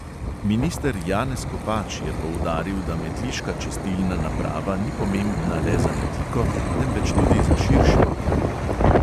Minister janez kopač je poudaril, da metliška čistilna naprava ni pomembna le za metliko, temveč tudi za širše okolje.